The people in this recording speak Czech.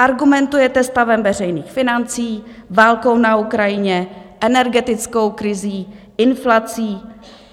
Argumentujete stavem veřejných financí, válkou na Ukrajině, energetickou krizí, inflací.